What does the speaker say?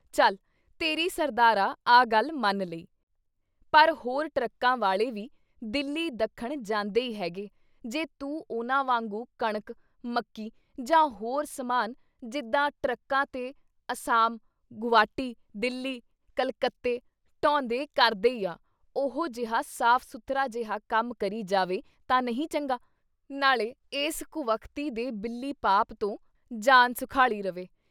ਚੱਲ ਤੇਰੀ ਸਰਦਾਰਾ ਆਹ ਗੱਲ ਮੰਨ ਲਈ ! ਪਰ ਹੋਰ ਟਰੱਕਾਂ ਵਾਲੇ ਵੀ ਦਿੱਲੀ ਦੱਖਣ ਜਾਂਦੇ ਈ ਹੈਗੇ ਜੇ ਤੂੰ ਉਨ੍ਹਾਂ ਵਾਂਗੂੰ ਕਣਕ, ਮੱਕੀ ਜਾਂ ਹੋਰ ਸਮਾਨ ਜਿੱਦਾਂ ਟਰੱਕਾਂ ਤੇ ਅਸਾਮ ਗੁਵਾਟੀ, ਦਿੱਲੀ, ਕਲਕੱਤੇ ਢੋਂਦੇ ਕਰਦੇ ਈ ਆ, ਉਹੋ ਜਿਹਾ ਸਾਫ਼-ਸੁੱਥਰਾ ਜਿਹਾ ਕੰਮ ਕਰੀ ਜਾਵੇਂ ਤਾਂ ਨਹੀਂ ਚੰਗਾ! ਨਾਲ਼ੇ ਐਸ ਕੁਵਖ਼ਤੀ ਦੇ ਬਿੱਲੀ ਪਾਪ" ਤੋਂ ਜਾਨ ਸੁਖਾਲੀ ਰਵੇ।